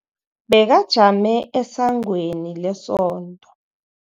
Bekajame esangweni lesonto.